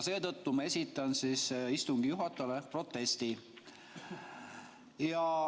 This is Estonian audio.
Seetõttu ma esitan istungi juhatajale protesti.